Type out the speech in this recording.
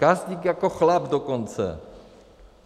Gazdík jako chlap dokonce.